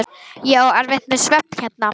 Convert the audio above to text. Ég á erfitt með svefn hérna.